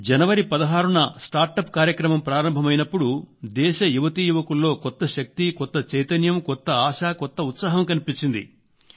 జనవరి 16 న స్టార్టప్ కార్యక్రమం ప్రారంభమైనప్పుడు దేశ యువతీ యువకుల్లో కొత్త శక్తి కొత్త చైతన్యం కొత్త ఆశ కొత్త ఉత్సాహం కనిపించింది